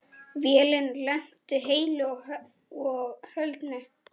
Vélin lenti heilu og höldnu.